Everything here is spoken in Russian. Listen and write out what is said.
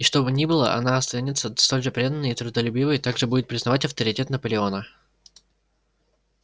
и что бы ни было она останется столь же преданной и трудолюбивой также будет признавать авторитет наполеона